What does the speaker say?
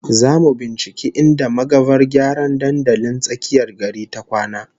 Zamu binciki inda magavar gyara dandalin tsakiyar gari ta kwana